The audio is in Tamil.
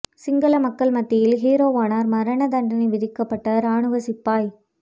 சிங்கள மக்கள் மத்தியில் ஹீரோவானார் மரண தண்டனை விதிக்கப்பட்ட இராணுவச் சிப்பாய்